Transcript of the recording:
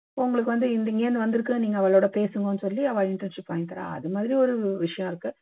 உங்களுக்கு வந்து இங்கேருந்து வந்துருக்கு நீங்க அவாளோட பேசுங்கோன்னு சொல்லி அவா internship வாங்கி தர்றா அது மாதிரி ஒரு விஷயம் இருக்கு